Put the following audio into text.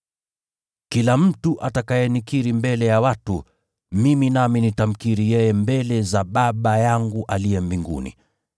“Kila mtu atakayenikiri mbele ya watu, mimi nami nitamkiri yeye mbele za Baba yangu aliye mbinguni.